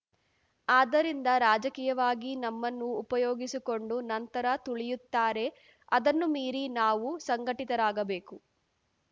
ಆದ್ದರಿಂದ ರಾಜಕೀಯವಾಗಿ ನಮ್ಮನ್ನು ಉಪಯೋಗಿಸಿಕೊಂಡು ನಂತರ ತುಳಿಯುತ್ತಾರೆ ಅದನ್ನು ಮೀರಿ ನಾವು ಸಂಘಟಿತರಾಗಬೇಕು